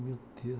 Meu Deus.